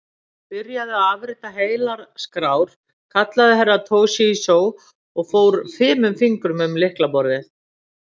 Byrjaðu að afrita heilar skrár, kallaði Herra Toshizo og fór fimum fingrum um lylkaborðið.